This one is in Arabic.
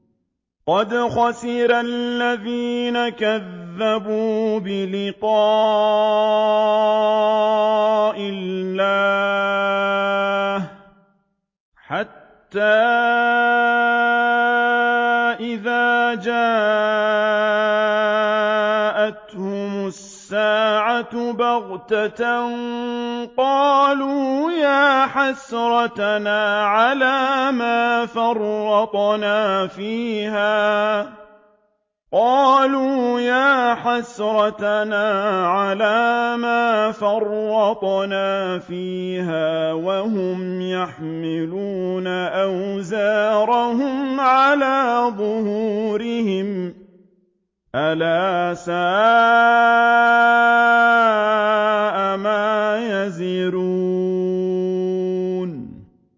قَدْ خَسِرَ الَّذِينَ كَذَّبُوا بِلِقَاءِ اللَّهِ ۖ حَتَّىٰ إِذَا جَاءَتْهُمُ السَّاعَةُ بَغْتَةً قَالُوا يَا حَسْرَتَنَا عَلَىٰ مَا فَرَّطْنَا فِيهَا وَهُمْ يَحْمِلُونَ أَوْزَارَهُمْ عَلَىٰ ظُهُورِهِمْ ۚ أَلَا سَاءَ مَا يَزِرُونَ